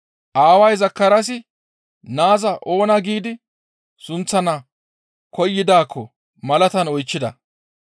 Aaway Zakaraasi Naaza oona giidi sunththana koyidaakko malatan oychchida.